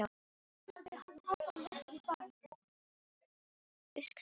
Nú eru allir íslenskir listamenn farnir frá Flórens til Parísar.